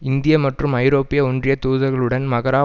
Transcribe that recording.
இந்திய மற்றும் ஐரோப்பிய ஒன்றிய தூதர்களுடன் மகாரா